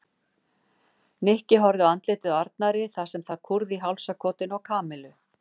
Nikki horfði á andlitið á Arnari þar sem það kúrði í hálsakotinu á Kamillu.